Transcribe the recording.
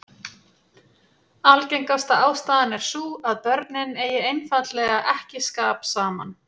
Algengasta ástæðan er sú að börnin eigi einfaldlega ekki skap saman.